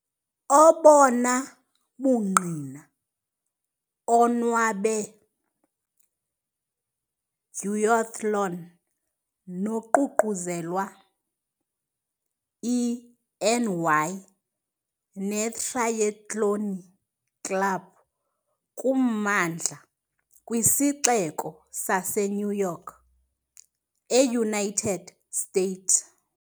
Obona bungqina onwabe duathlon noququzelelwa i NY netrayethloni Club kummandla kwiSixeko saseNew York, eUnited States.